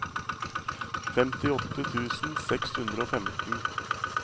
femtiåtte tusen seks hundre og femten